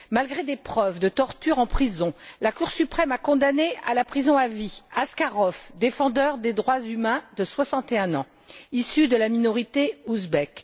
Malgré des preuves de tortures en prison, la Cour suprême a condamné à la prison à vie Askarov, défenseur des droits humains, âgé de 61ans, issu de la minorité ouzbek.